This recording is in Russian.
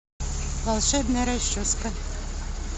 волшебная расческа